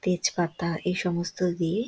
তেজ পাতা এই সমস্ত দিয়ে--